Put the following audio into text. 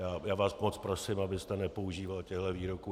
Já vás moc prosím, abyste nepoužíval těchto výroků.